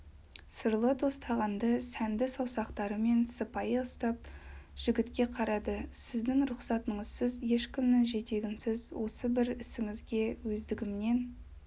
сырлы тостағанды сәнді саусақтарымен сыпайы ұстап жігітке қарады сіздің рұхсатыңызсыз ешкімнің жетегінсіз осы бір ісіңізге өздігімнен